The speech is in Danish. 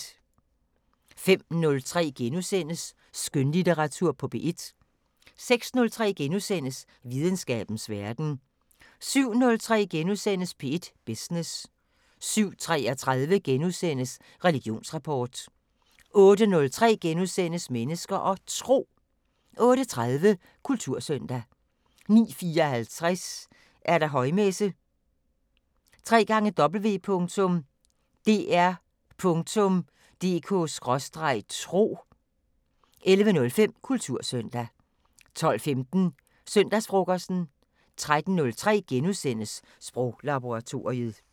05:03: Skønlitteratur på P1 * 06:03: Videnskabens Verden * 07:03: P1 Business * 07:33: Religionsrapport * 08:03: Mennesker og Tro * 08:30: Kultursøndag 09:54: Højmesse - www.dr.dk/tro 11:05: Kultursøndag 12:15: Søndagsfrokosten 13:03: Sproglaboratoriet *